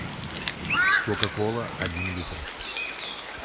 кока кола один литр